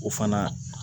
O fana